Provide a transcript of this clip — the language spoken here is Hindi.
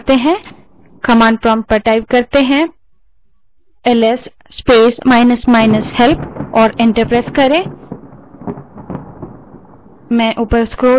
command prompt पर जाएँ और ls space minus minus help type करें और enter दबायें